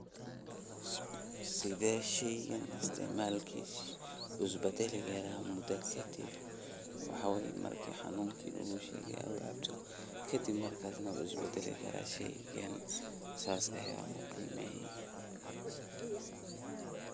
Sidee sheygan isticmaalkisa isu badali karaa mudo kadiib, waxaa wayee marki xanunki lagushegayo aad u cabto, kadiib markas wuu isbadali karaa sheygan sas ayan uqimeye.